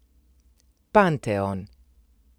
Panteon.